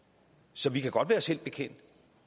så vi kan godt være os selv bekendt